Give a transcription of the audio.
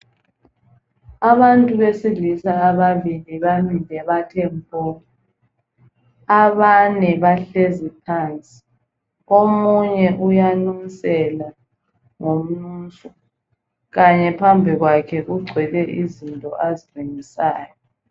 Abantu besilisa ababili bamile bathe mpo, abane bahlezi phansi omunye uyanusela ngomnuso kanye phambi kwakhe kugcwele izinto azilungisayo.